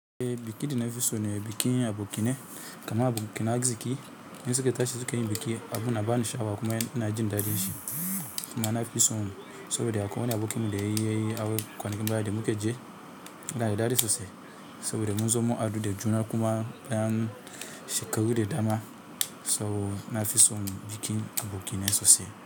Bikin da nafi sone bikin abokanai kamar abokanan arziƙi in suka tashi suka yi biki abun yana bani sha, awa kuma na fi son saboda da akwai wani abokinmu da ya yi aure kwanakin baya da muka je, yana da daɗin sosai saboda mun zo mun haɗu da juna kuma na shekaru da dama. Sau nafi son bikin aboki ne sosai.